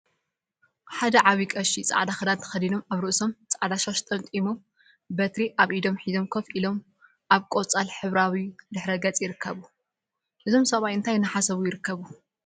ሓደ ዓብይ ቀሺ ፃዕዳ ክዳን ተከዲኖምን አብ ርእሶም ፃዕዳ ሻሽ ጠምጢሞምን በትሪ አብ ኢዶም ሒዞም ኮፈ ኢሎም አብ ቆፃል ሕብራዊ ድሕረ ገፅ ይርከቡ፡፡ እዞም ሰብአይ እንታይ እናሓሰቡ ይርከቡ?